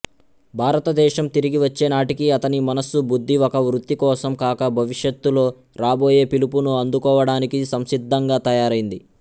భారతదేశం తిరిగివచ్చేనాటికి అతని మనస్సు బుద్ధి ఒక వృత్తి కోసం కాక భవిష్యత్తులో రాబోయే పిలుపును అందుకోవడానికి సంసిద్ధంగా తయారైంది